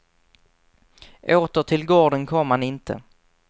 Åter till gården kom han inte.